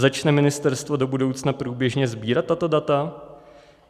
Začne ministerstvo do budoucna průběžně sbírat tato data?